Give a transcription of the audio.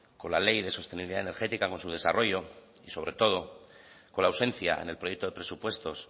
con la ley de sostenibilidad energética con su desarrollo y sobre todo con la ausencia en el proyecto de presupuestos